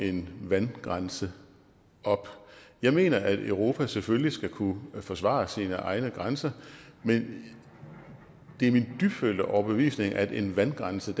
en vandgrænse op jeg mener at europa selvfølgelig skal kunne forsvare sine egne grænser men det er min dybtfølte overbevisning at en vandgrænse